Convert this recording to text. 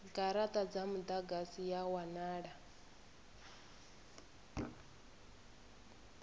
garata dza mudagasi ya wanala